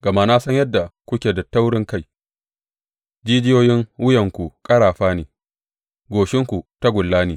Gama na san yadda kuke da taurinkai; jijiyoyin wuyanku ƙarafa ne, goshinku tagulla ne.